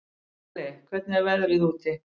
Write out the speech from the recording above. Alli, hvernig er veðrið úti?